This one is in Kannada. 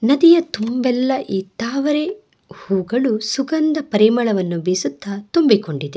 ನದಿಯ ತುಂಬೆಲ್ಲಾ ಈ ತಾವರೆ ಹೂಗಳು ಸುಗಂಧ ಪರಿಮಳವನ್ನು ಬಿಸುತ್ತಾ ತುಂಬಿ ಕೊಂಡಿದೆ.